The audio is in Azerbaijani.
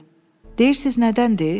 Deyirsiz nədəndir?